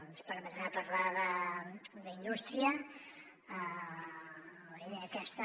ens permetrà parlar d’indústria i de la idea aquesta